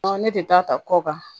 Ne de ta ta kɔ kan